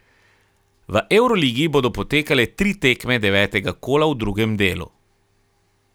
V evroligi bodo potekale tri tekme devetega kola v drugem delu.